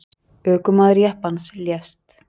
Ökumaður jeppans lést.